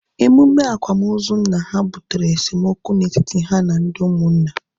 Emume akwamozu nna ha butere esemokwu na etiti ha na ndị ụmụnna